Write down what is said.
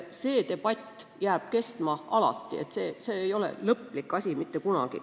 See debatt jääb kestma alati, see ei ole lõplik seis mitte kunagi.